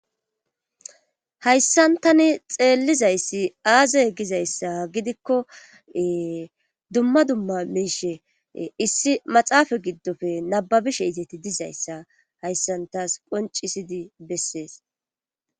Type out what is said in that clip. hayssan tani xeellizayssi aaze gizayssa gidikko dumma dumma miishe issi maxaafa giddofe nababishe izeti dizayssa hayssan taas qoncisidi bessees